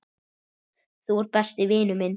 Þú ert besti vinur minn.